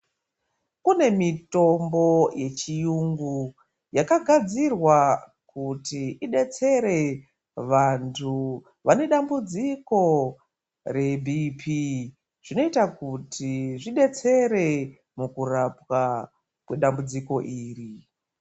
Kune mitombo yechiyungu yakagadzirwa kuti idetsere vantu vanedambudziko reBP zvinoita kuti zvidetsere mukurapwa kwedambudziko iri.